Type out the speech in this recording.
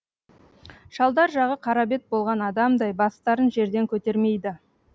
шалдар жағы қара бет болған адамдай бастарын жерден көтермейді